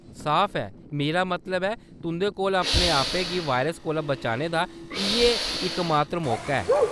साफ ऐ, मेरा मतलब ऐ तुंʼदे कोल अपने आपै गी वायरस कोला बचाने दा इʼयै इकमात्तर मौका ऐ।